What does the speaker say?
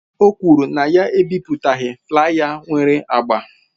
O kwuru na ya ebipụtaghi flaya nwere agba.